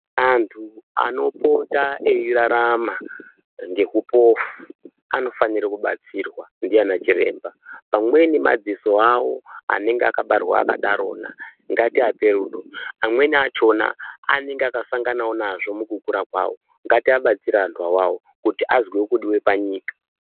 Anthu anopota eirarama ngeupofu anofanire kubatsirwa ndiana chiremba. Pamweni madziso awo anenge akabarwa akadarona, ngatiape rudo. Amweni achona anenge akasanganawo nazvo mukukura kwawo, ngatiabatsire antu awawo kuti azwewo kudiwa panyika.